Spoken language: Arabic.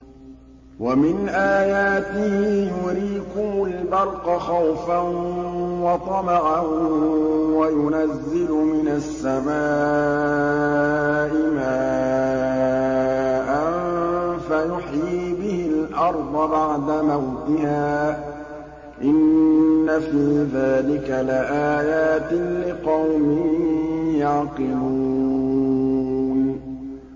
وَمِنْ آيَاتِهِ يُرِيكُمُ الْبَرْقَ خَوْفًا وَطَمَعًا وَيُنَزِّلُ مِنَ السَّمَاءِ مَاءً فَيُحْيِي بِهِ الْأَرْضَ بَعْدَ مَوْتِهَا ۚ إِنَّ فِي ذَٰلِكَ لَآيَاتٍ لِّقَوْمٍ يَعْقِلُونَ